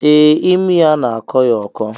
Ee imi ya n'akọ ya ọkọ